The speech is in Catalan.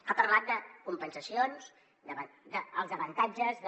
ha parlat de compensacions dels avantatges de